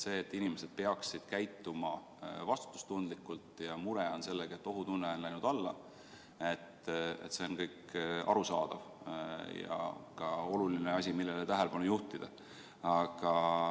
See, et inimesed peaksid käituma vastutustundlikult ja mure on sellega, et ohutunne on läinud alla, on kõik arusaadav ja ka oluline asi, millele tähelepanu juhtida.